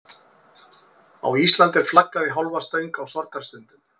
Á Íslandi er flaggað í hálfa stöng á sorgarstundum.